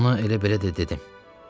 Ona elə belə də dedim.